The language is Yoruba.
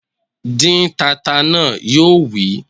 Dín tata náà! Yóò wí